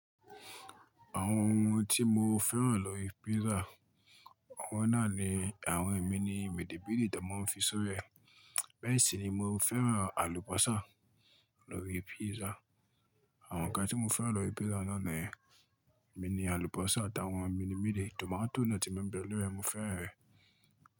Àwọn ohun tí mo fẹ́ràn lórí pizza awọ́n náà ni àwọn emi ni midi-bidi tí wọ́n maa fi sóri è. Bẹ́ẹ̀ sì ni mo fẹ́ràn àlùbọ́sà lórí pizza. Àwọn ǹkan tí mo fẹ́ràn lórí pizza náà ni mini àlùbọ́sà àtàwọn mini midi tomato náà tí n ma bẹ̀ lóri ẹ̀ mo fẹ́ràn rẹ̀.